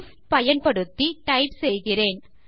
if பயன்படுத்தி type செய்கிறேன்